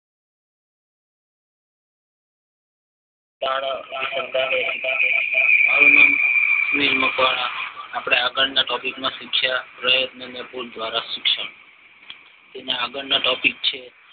આપણા આગળના ટીપીસીમાં શીખ્યા પ્રયત્ન અને પુલ દ્વારા શિક્ષણ તેનો આગળ નો ટોપિક છે